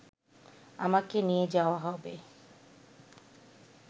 আমাকে নিয়ে যাওয়া হবে